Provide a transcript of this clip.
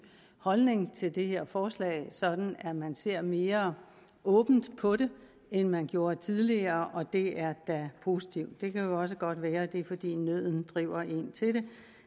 holdning til det her forslag sådan at man ser mere åbent på det end man gjorde tidligere og det er da positivt det kan også godt være at det er fordi nøden driver en til